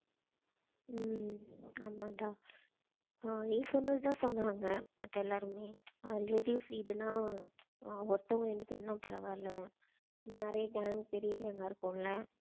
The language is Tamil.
உம் ஆமான்டா ஆஹ் நீ சொன்னது தான் சொன்னாங்க மத்த எல்லாருமே அஹ் ladies வீடுன்ன ஆஹ் ஒருத்தவங்க இரண்டு பேருன்னா பரவாயில்லை. நம்ம நிறைய gang பெரிய gang ஆ இருக்கோம்ல